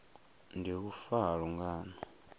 ndi u fa ha lungano